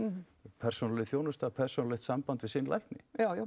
persónuleg þjónusta persónulegt samband við sinn lækni